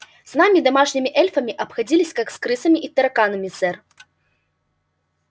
с нами домашними эльфами обходились как с крысами и тараканами сэр